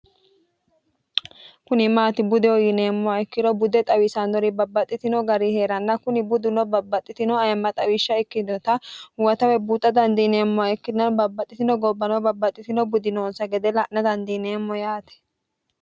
kuni maati bude uyineemmo ikkiro budde xawiisannori babbaxxitino gari hee'ranna kuni budduno babbaxxitino ayemma xawishsha ikkinota huwatawe buuxa dandiineemmoha ikkinnanu babbaxxitino gobbano babbaxxitino budinoonsa gede la'na dandiineemmo yaati